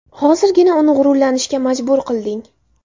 Hozirgina uni g‘ururlanishga majbur qilding”.